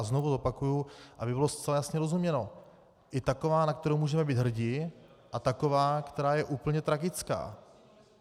A znovu opakuji, aby bylo zcela jasně rozuměno, i taková, na kterou můžeme být hrdi, a taková, která je úplně tragická.